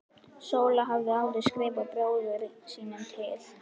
Sóla hafði áður skrifað bróður sínum til